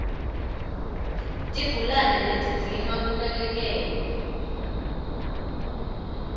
tigulane letidzinga kunekelwa